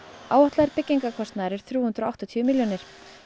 áætlaður byggingarkostnaður er þrjú hundruð og áttatíu milljónir